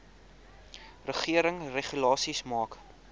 regering regulasies maak